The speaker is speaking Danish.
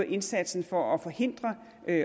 indsatsen for at forhindre